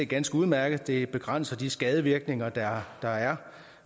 ganske udmærket det begrænser de skadevirkninger der er er